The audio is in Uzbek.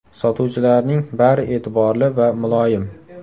Sotuvchilarning bari e’tiborli va muloyim.